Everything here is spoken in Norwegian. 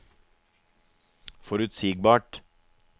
forutsigbart